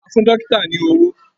A fún dọ́kítà ní owó.